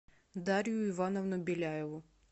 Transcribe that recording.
дарью ивановну беляеву